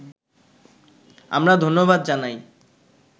আমরা ধন্যবাদ জানাই